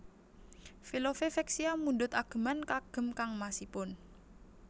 Velove Vexia mundhut ageman kagem kangmasipun